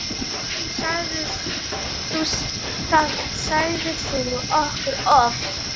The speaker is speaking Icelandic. Það sagðir þú okkur oft.